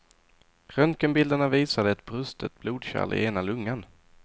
Röntgenbilderna visade ett brustet blodkärl i ena lungan.